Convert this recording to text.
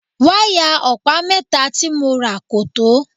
Wáyà ọ̀pá mẹ́ta tí mo rà kò tó.